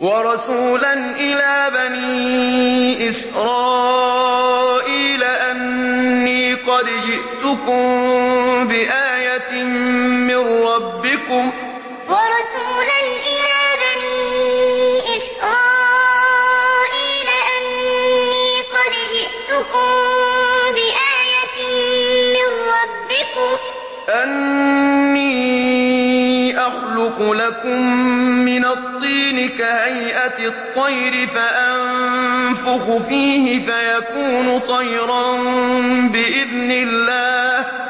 وَرَسُولًا إِلَىٰ بَنِي إِسْرَائِيلَ أَنِّي قَدْ جِئْتُكُم بِآيَةٍ مِّن رَّبِّكُمْ ۖ أَنِّي أَخْلُقُ لَكُم مِّنَ الطِّينِ كَهَيْئَةِ الطَّيْرِ فَأَنفُخُ فِيهِ فَيَكُونُ طَيْرًا بِإِذْنِ اللَّهِ ۖ